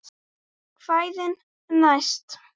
Kvæðin næst?